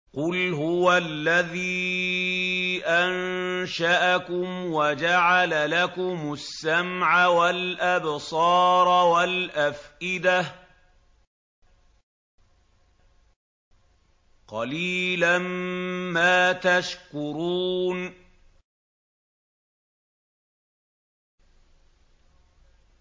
قُلْ هُوَ الَّذِي أَنشَأَكُمْ وَجَعَلَ لَكُمُ السَّمْعَ وَالْأَبْصَارَ وَالْأَفْئِدَةَ ۖ قَلِيلًا مَّا تَشْكُرُونَ